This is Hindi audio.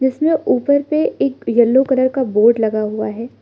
इसमें ऊपर पे एक येलो कलर का बोर्ड लगा हुआ है।